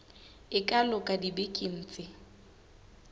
e ka loka dibekeng tse